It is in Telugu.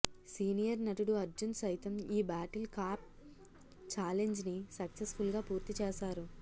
సీనియర్ నటుడు అర్జున్ సైతం ఈ బాటిల్ క్యాప్ ఛాలెంజ్ ని సక్సెస్ ఫుల్ గా పూర్తి చేసారు